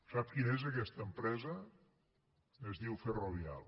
sap quina és aquesta empresa es diu ferrovial